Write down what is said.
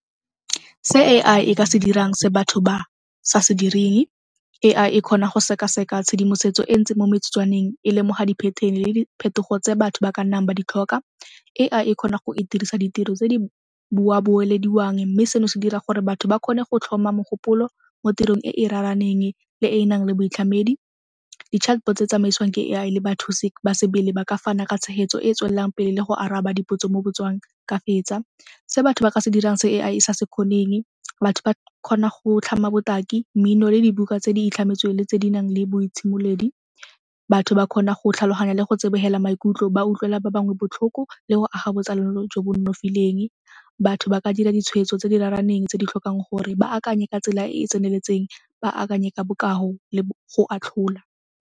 Se A_I e ka se dirang se batho ba sa se direng, A_I e kgona go sekaseka tshedimosetso e ntsi mo metsotswaneng, e lemoga di-pattern-e le diphetogo tse batho ba ka nnang ba di tlhoka. A_I e kgona go e dirisa ditiro tse di boelediwang mme seno se dira gore batho ba kgone go tlhoma mogopolo mo tirong e e raraneng le e e nang le boitlhamedi. Di-chatbots tse tsamaisiwang ke A_I le bathusi ba sebele ba ka fana ka tshegetso e e tswelelang pele le go araba dipotso mo ka fetsa. Se batho ba ka se dirang se A_I e sa se kgoneng, batho ba kgona go tlhama botaki, mmino le dibuka tse di itlhametsweng le tse di nang le boitshimoledi. Batho ba kgona go tlhaloganya le go tsebogela maikutlo ba utlwela ba bangwe botlhoko le go aga botsalano jo bo nonofileng. Batho ba ka dira ditshwetso tse di raraneng tse di tlhokang gore ba akanye ka tsela e e tseneletseng ba akanye ka bokao le go atlhola.